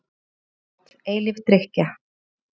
Eilíft át, eilíf drykkja.